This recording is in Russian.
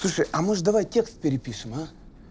слушай а может давай текст перепишем а